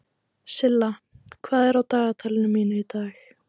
Silla, hvað er í dagatalinu mínu í dag?